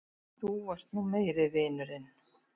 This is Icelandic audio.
Þú ert nú meiri vinurinn!